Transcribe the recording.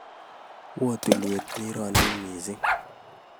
Oo tulwet nironin mising